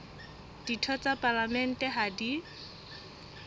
ditho tsa palamente ha di